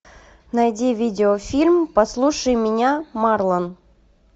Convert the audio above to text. найди видеофильм послушай меня марлон